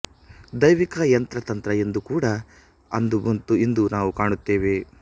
ದೈವಿಕ ಯಂತ್ರತಂತ್ರ ಎಂದೂ ಕೂಡ ಅಂದು ಮತ್ತು ಇಂದು ನಾವು ಕಾಣುತ್ತೇವೆ